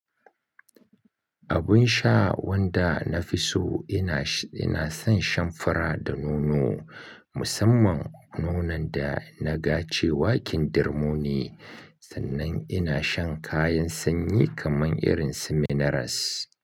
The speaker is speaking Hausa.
Abun sha wanda na fi so ina, ina son shan fura da nono, musamman nonon da na ga cewa kindirmo ne. Sannan ina shan kayan sanyi kamar irin su minerals.